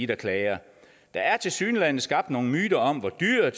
der klager der er tilsyneladende skabt nogle myter om hvor dyrt